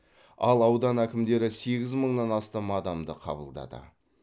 ал аудан әкімдері сегіз мыңнан астам адамды қабылдады